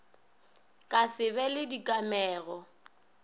ka se be le dikamego